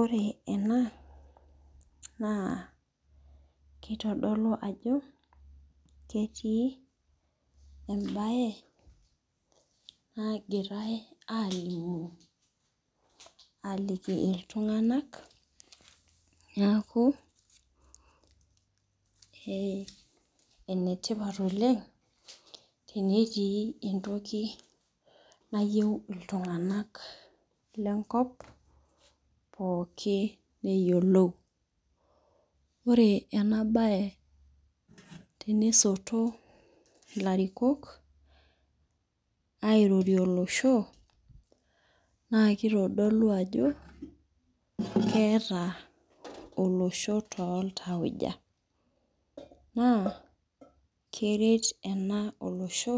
Ore ena, naa kitodolu ajo ketii ebae nagirai alimu aliki iltung'anak niaku, enetipat oleng tenetii entoki nayieu iltung'anak lenkop pooki eyiolou. Ore enabae tenisoto ilarikok airorie olosho, naa kitodolu ajo keeta olosho toltauja. Naa keret ena olosho,